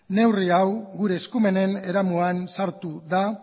neurri hau gure eskumenen eremuan sartu da